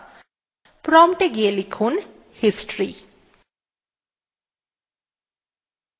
prompt এ গিয়ে লিখুন history